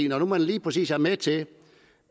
nu man lige præcis er med til